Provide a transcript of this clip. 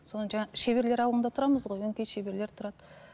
содан жаңа шеберлер ауылында тұрамыз ғой өңкей шеберлер тұрады